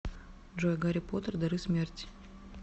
джой гарри поттер дары смерти